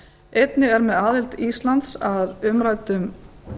einnig er með aðild íslands að umræddum